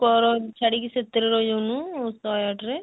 ଛାଡିକି ସେଥିରେ ରହି ଯାଉନୁ ଶହେ ଆଠ ରେ